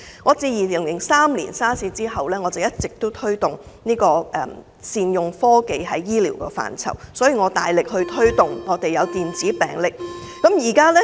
我自2003年 SARS 後，一直推動在醫療範疇善用科技，所以我大力推動電子病歷。